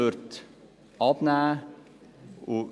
– würde abnehmen.